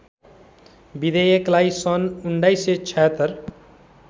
विधेयकलाई सन् १९७६